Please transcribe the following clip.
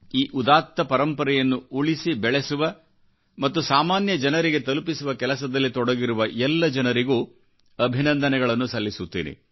ಈ ಉದಾತ್ತ ಪರಂಪರೆಯನ್ನು ಉಳಿಸಿ ಬೆಳೆಸುವ ಮತ್ತು ಸಾಮಾನ್ಯ ಜನರಿಗೆ ತಲುಪಿಸುವ ಕೆಲಸದಲ್ಲಿತೊಡಗಿರುವ ಎಲ್ಲ ಜನರಿಗೂ ಅಭಿನಂದನೆಗಳನ್ನು ಸಲ್ಲಿಸುತ್ತೇನೆ